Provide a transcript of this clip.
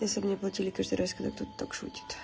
если мне платили каждый раз когда кто-то так шутит